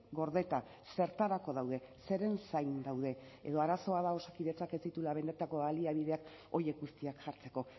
gordeta zertarako daude zeren zain daude edo arazoa da osakidetzak ez dituela benetako baliabideak horiek guztiak jartzeko